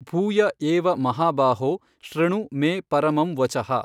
ಭೂಯ ಏವ ಮಹಾಬಾಹೋ ಶೃಣು ಮೇ ಪರಮಂ ವಚಃ।